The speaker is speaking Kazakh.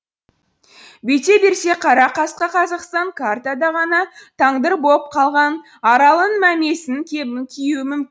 бүйте берсе қара қасқа қазақстан картада ғана тандыр боп қалған аралының мәмесінің кебін киюі мүмкін